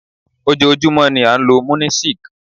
Ojoojúmọ́ ni a ń lo Munisik.